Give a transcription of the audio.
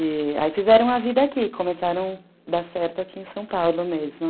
E aí fizeram a vida aqui, começaram a dar certo aqui em São Paulo mesmo.